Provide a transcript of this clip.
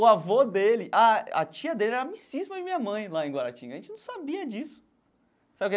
O avô dele, ah a tia dele era amicíssima de minha mãe lá em Guaratinga, a gente não sabia disso sabe.